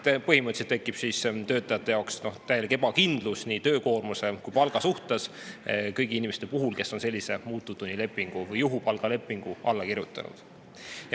Põhimõtteliselt tekib täielik ebakindlus nii töökoormuse kui ka palga suhtes kõigil inimestel, kes on sellisele muutuvtunnilepingule või juhupalgalepingule alla kirjutanud.